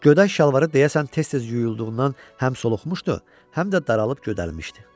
Göydaş şalvarı deyəsən tez-tez yuyulduğundan həm soluqmuşdu, həm də daralıb gödərilmişdi.